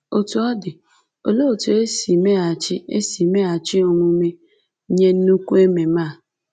Otú ọ dị, olee otú e si meghachi e si meghachi omume nye nnukwu ememe a?